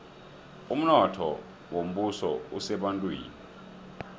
umnotho wombuso usebantwini